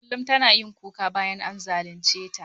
Kullum tana kuka bayan an zalunceta.